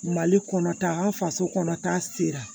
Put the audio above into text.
Mali kɔnɔta an faso kɔnɔ ta sera